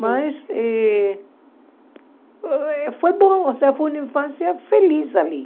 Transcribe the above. Mas eh foi foi bom, foi uma infância feliz ali.